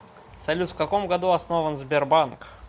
салют в каком году основан сбербанк